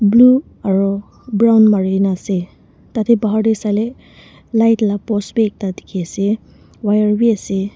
Blue aro brown marena ase tate bahar tey saile light la post beh ekta dekhe ase wire beh ase.